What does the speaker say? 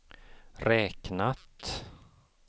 räknat